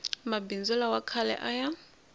mabindzu lawa khale a ya